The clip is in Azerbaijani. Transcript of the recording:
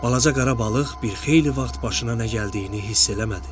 Balaca qara balıq bir xeyli vaxt başına nə gəldiyini hiss eləmədi.